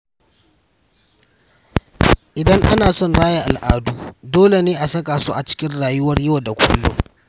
Idan ana son raya al’adu, dole ne a saka su a cikin rayuwar yau da kullum.